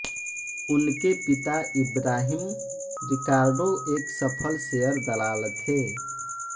उनके पिता Ibrahim Ricardo एक सफल शेयर दलाल थे